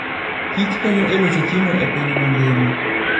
kich konyo e loso chiemo e piny mangima.